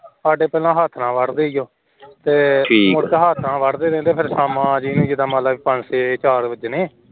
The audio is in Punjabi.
ਸਾਡੇ ਪਹਿਲਾ ਹੱਥ ਨਾਲ ਵੱਢਦੇ ਸੀ ਉਹ